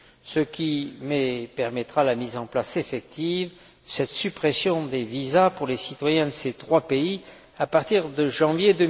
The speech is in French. ce qui permettra la mise en place effective de cette suppression des visas pour les citoyens de ces trois pays à partir de janvier